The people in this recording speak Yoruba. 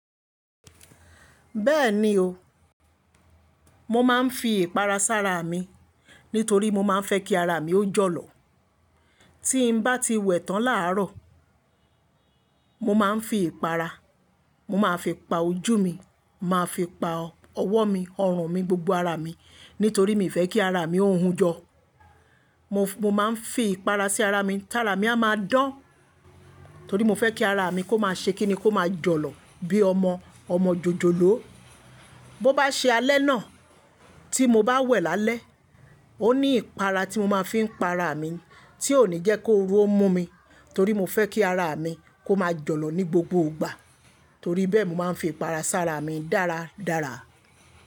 Bẹ́ẹ̀ni o, mo máa ń fi ìpara sára mi nítorí mo máa ń fẹ́ kí ara mi ó jọ̀lọ̀. Tí n bá ti wẹ̀ tán làárọ̀, mo máa ń fi ìpara, mo máa fi pa ojú mi, màá fi pa ọwọ́ mi, ọrùn mi, gbogbo ara mi nítorí mi fẹ́ kí ara mi ó hun jọ. Mo, mo máa ń fi ìpara sí ara mi tára mi a máa dán. Torí mo fẹ́ kí ara mi kó máa ṣe kí ni kó máa jọ̀lọ̀ bí ọmọ, ọmọ jòjòló. Bo bá ṣe alẹ́ náà tí mo bá wẹ̀ lálẹ́, ó ní ìpara tí mo máa ń fi pa ara mi tí ó ní jẹ́ kó oru mú mi. Torí mo fẹ́ kí ara mi kó máa jọ̀lọ̀ ní gbogbo ìgbà. Torí bẹ́ẹ̀ mo máa ń fi ìpara sára mi dáradára.